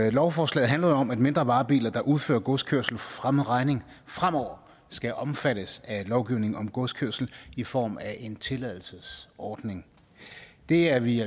og lovforslaget handler jo om at mindre varebiler der udfører godskørsel for fremmed regning fremover skal omfattes af lovgivningen om godskørsel i form af en tilladelsesordning det er vi i